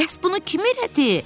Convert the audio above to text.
Bəs bunu kim elədi?